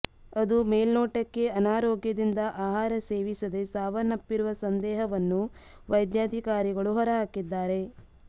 ಅದು ಮೇಲ್ನೋಟಕ್ಕೆ ಅನಾರೋಗ್ಯದಿಂದ ಆಹಾರ ಸೇವಿಸದೇ ಸಾವನ್ನಪ್ಪಿರುವ ಸಂದೇಹವನ್ನು ವೈದ್ಯಾಧಿಕಾರಿಗಳು ಹೊರಹಾಕಿದ್ದಾರೆ